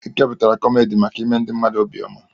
Ekepụtara kọmedi maka ime ndị mmadụ obi ọma.